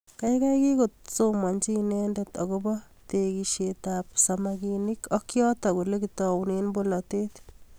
Kaikai kikosomanji inendet akobo tekishet ab samakinik ak yatok olekitoune bolotet